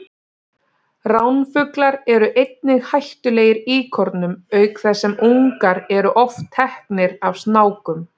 Ránfuglar eru einnig hættulegir íkornum auk þess sem ungar eru oft teknir af snákum.